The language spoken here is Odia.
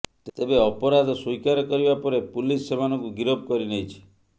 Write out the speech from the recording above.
ତେବେ ଅପରାଧ ସ୍ୱୀକାର କରିବା ପରେ ପୁଲିସ ସେମାନଙ୍କୁ ଗିରଫ କରିନେଇଛି